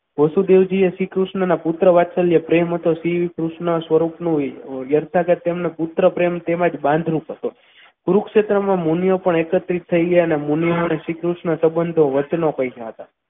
વસુદેવજીએ શ્રીકૃષ્ણના પુત્ર વાત્સલ્ય પ્રેમ હતો શ્રીકૃષ્ણ સ્વરૂપનું તેમનું પુત્ર પ્રેમ તેમજ બાંધ રૂપ હતો કુરુક્ષેત્રમાં મુનિઓ પણ એક જ થઈ ગયા અને મુનિઓ પાસે શ્રીકૃષ્ણના સંબંધો વચ્ચેનો પામ્યા હતા.